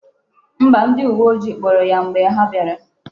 Mba, ndi uwe ojii kpuru ya mgbe ha biara